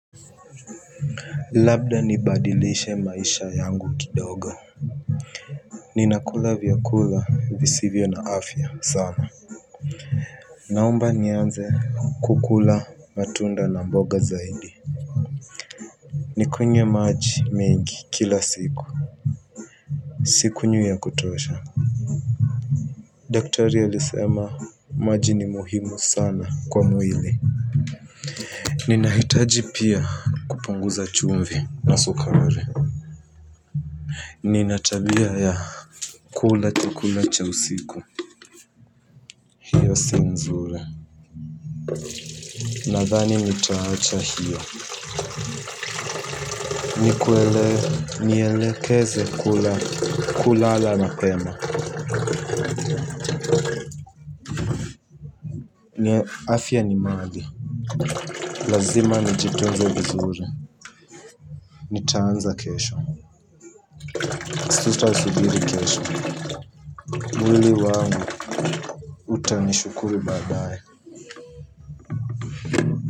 Labda nibadilishe maisha yangu kidogo. Ninakula vyakula visivyo na afya sana. Naomba nianze kukula matunda na mboga zaidi. Nikunye maji mengi kila siku. Sikunywi ya kutosha. Daktari alisema maji ni muhimu sana kwa mwili. Ninahitaji pia kupunguza chumvi na sukari. Nina tabia ya kula chakula cha usiku. Si nzuri. Nadhani nitaacha hiyo. Nielekeze kulala mapema afya ni mali. Lazima nijitunze vizuri. Nitaanza kesho. Sitasubiri kesho. Mwili wangu utanishukuru baadae.